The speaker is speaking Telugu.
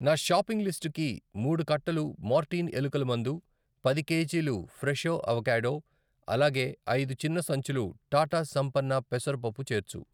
నా షాపింగ్ లిస్టుకి మూడు కట్టలు మోర్టీన్ ఎలుకల మందు, పది కేజీలు ఫ్రెషో అవకాడో, అలాగే ఐదు చిన్న సంచులు టాటా సంపన్న్ పెసరపప్పు చేర్చు.